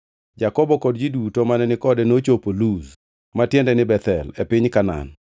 Jakobo kod ji duto mane ni kode nochopo Luz (ma tiende ni Bethel) e piny Kanaan.